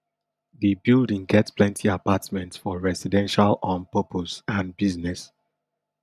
di building get plenty apartments for residential um purpose and business